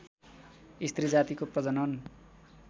स्त्री जातिको प्रजनन